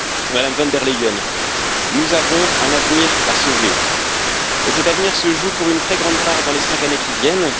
Madame von der Leyen, nous avons un avenir à sauver et cet avenir se joue pour une très grande part dans les cinq années qui viennent.